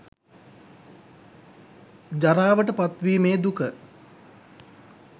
ජරාවට පත්වීමේ දුක